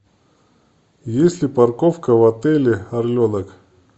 есть ли парковка в отеле орленок